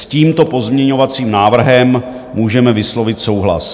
S tímto pozměňovacím návrhem můžeme vyslovit souhlas.